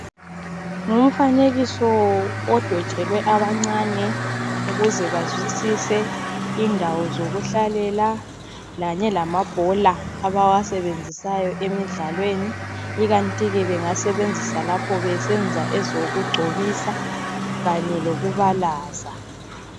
Ngumfanekiso edwetshelwe abancane ukuze bazwisise indawo zokuhlalela lanye lamabhola abawasebenziyo emidlalweni ikathi ke bengasebenzisa lapho besenza ezokugcobisa kanye lokubalaza.